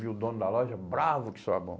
Vi o dono da loja, bravo que sou a